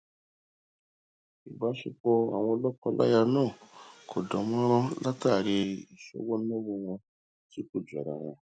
ìbáṣepọ àwọn lọkọláya náà kò dánmọrán látàrí ìṣọwọ náwó wọn tí kò jọrawọn